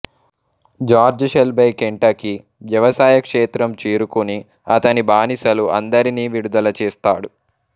George Shelby Kentucky వ్యవసాయ క్షేత్రం చేరుకుని అతని బానిసలు అందరినీ విడుదల చేస్తాడు